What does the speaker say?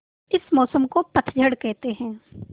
इस मौसम को पतझड़ कहते हैं